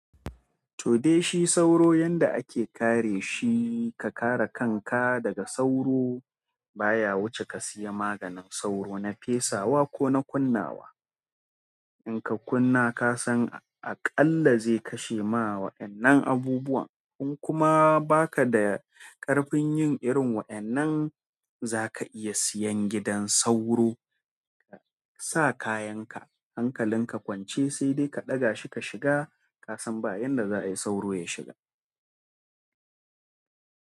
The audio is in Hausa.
To de shi sauro, yanda ake kare shi ka kare kanka daga sauro baya wuce ka siya maganin sauro na fesawa ko na kunnawa. In ka kunna, ka san aƙalla zai kashe ma wa'innan abubuwa. In kuma baka da ƙarfin yin irin wa'yannan, zaka iya siyan gidan sauro. Ka sa kayan ka, hankalin ka kwance sai dai ka ɗaga shi ka shiga ka san ba yanda za a yi sauro ya shiga.